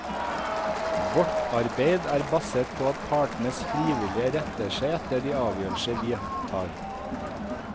Vårt arbeid er basert på at partene frivillig retter seg etter de avgjørelser vi tar.